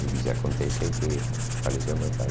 Eu disse, acontece que faleceu meu pai.